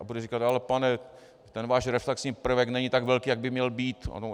A bude říkat - ale pane, ten váš reflexní prvek není tak velký, jak by měl být.